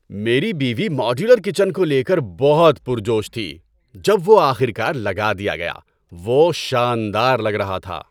میری بیوی modular kitchen کو لے کر بہت پر جوش تھی جب وہ آخر کار لگا دیا گیا۔ وہ شاندار لگ رہا تھا!